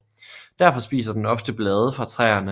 Derfor spiser den ofte blade fra træerne